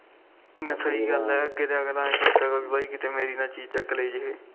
ਬਾਈ ਸਹੀ ਗੱਲ ਆ ਅੱਗੇ ਤੋ ਆਈ ਸੋਚਿਆ ਕਰਾਗੇ ਕੇ ਮੇਰੀ ਨਾ ਕੋਈ ਚੀਜ ਚੱਕ ਲੈਜੇ